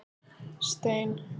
Stein